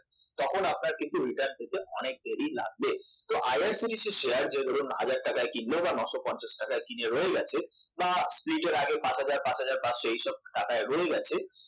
তখন আপনার কিন্তু return পেতে অনেক দেরী লাগবে তো IRCTC এর শেয়ার যে ধরুন হাজার টাকায় কিনলো বা নয়শ পঞ্চাশ টাকায় কিনে রয়ে গেছে বা split এর আগে পাঁচ হাজার পাঁচ হাজান পাঁচশ এইসব টাকায় রয়ে গেছে